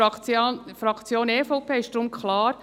Für die Fraktion EVP ist deshalb klar: